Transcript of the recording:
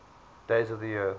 days of the year